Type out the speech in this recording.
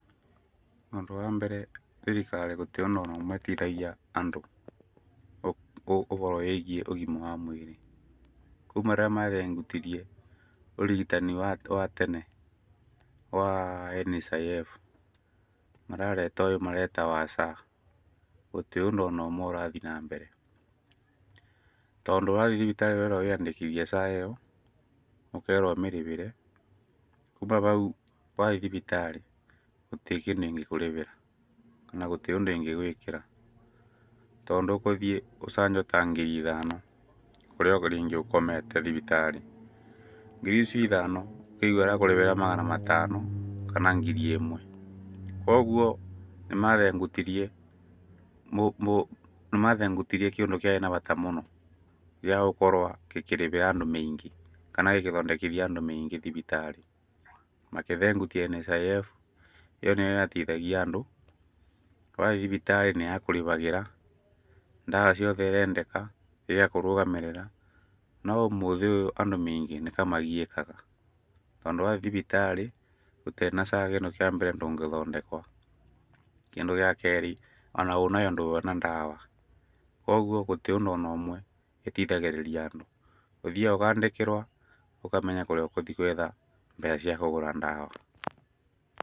Ũndũ wa mbere thirikari gũtiĩ o na ũndũ ũmwe ĩteithagia andũ, ũboro wĩgiĩ ũgĩma wa mũĩrĩ. Kuma rĩrĩa mathengutirie ũrigitani wa tene wa NHIF, marareta ũyũ mareta wa SHA, gũtiĩ ũndũ o na ũmwe ũrathiĩ na mbere, tondũ wathiĩ thibitarĩ ũrerwo wĩyandĩkithie SHA ĩyo, ũkerwo ũmĩrĩbĩre, kũma bau wathiĩ thibitarĩ gũtirĩ kindũ ĩngĩkũrĩbĩra na gũtiĩ ũndũ ĩngĩgwĩkĩra, tondũ ũgũthiĩ ũcanjwo ta ngiri ithano, kũrĩa ringĩ ũkomete thibitarĩ, ngiri icio ithano mekũkũrĩbĩra magana matano kana ngiri ĩmwe, kogwo nĩmathengutirie nĩ mathengutirie kĩndũ kĩarĩ na bata mũno, gĩagũkorwo gĩkĩrĩbĩra andũ maingĩ, kana gĩgĩthondekithia andũ maingĩ thibitarĩ. Magĩthengutia NHIF, ĩyo nĩ yo yateithagia andũ, wathiĩ thibitarĩ nĩ ya kũrĩbagĩra ndawa ciothe irendeka, igakũrũgamĩrĩra, no ũmũthĩ ũyũ andũ maingĩ nĩtamagiĩkaga, tondũ wathiĩ thibitarĩ ũtarĩ na SHA ĩ no, wa mbere ndũngĩthondekwo. Kĩndũ gĩa kerĩ, o na wĩ nayo nduona ndawa, kogwo gũtiĩ o na ũndũ ũmwe ĩteithagĩrĩria andũ, ũthĩyaga ũkandĩkĩrwo, ũkamenya kũrĩa ũgũthiĩ gwetha mbeca cia kũgũra ndawa.